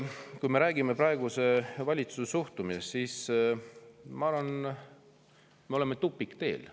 Kui me räägime praeguse valitsuse suhtumisest, siis ma arvan, et me oleme tupikteel.